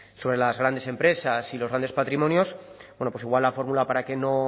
sobre las grandes empresas y los grandes patrimonios bueno pues igual la fórmula para que no